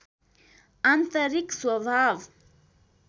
आन्तरिक स्वभाव